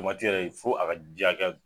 yɛrɛ fo a ka ji hakɛya